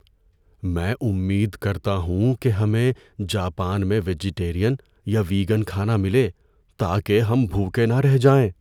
میں امید کرتا ہوں کہ ہمیں جاپان میں ویجٹیرین یا ویگن کھانہ ملے تاکہ ہم بھوکے نہ رہ جائیں۔